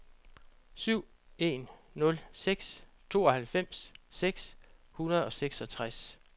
syv en nul seks tooghalvfems seks hundrede og seksogtres